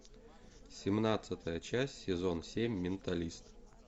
семнадцатая часть сезон семь менталист